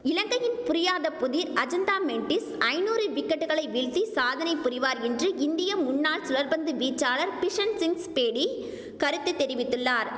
இலங்கையின் புரியாத புதிர் அஜந்தா மென்டிஸ் ஐநூறு விக்கெட்டுகளை வீழ்த்தி சாதனை புரிவார் என்று இந்திய முன்னாள் சுழற்பந்து வீச்சாளர் பிஷன் சிங்ஸ் பேடி கருத்து தெரிவித்துள்ளார்